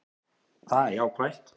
Það er jákvætt